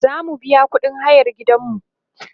zamu biya ƙuɗin hayan gidanmu